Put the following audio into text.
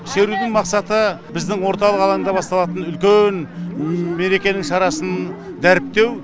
шерудің мақсаты біздің орталық алаңда басталатын үлкен мерекенің шарасын дәріптеу